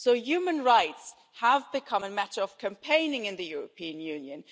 So human rights have become a matter of campaigning in the European Union.